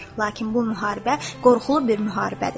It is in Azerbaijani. Lakin bu müharibə qorxulu bir müharibədir.